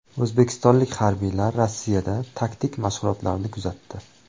O‘zbekistonlik harbiylar Rossiyada taktik mashg‘ulotlarni kuzatdi.